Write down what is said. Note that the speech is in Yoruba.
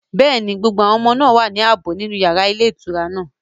Yes, all the children are safe in the hotel room.